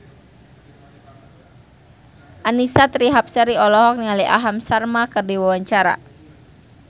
Annisa Trihapsari olohok ningali Aham Sharma keur diwawancara